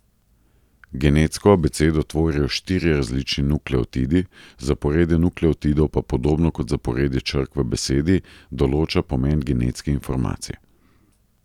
Genetsko abecedo tvorijo štirje različni nukleotidi, zaporedje nukleotidov pa, podobno kot zaporedje črk v besedi, določa pomen genetske informacije.